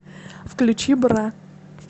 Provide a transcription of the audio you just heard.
включи бра